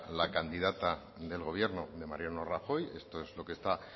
la candidata del gobierno de mariano rajoy esto es lo que está